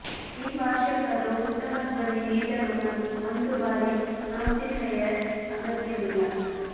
ಈ ಭಾಷಿಕರು ಉತ್ತಮ ಧ್ವನಿ ನೀಡಲು ಮತ್ತು ಒಂದು ಭಾರಿ ಆಂಪ್ಲಿಫಯರ್ ಅಗತ್ಯವಿಲ್ಲ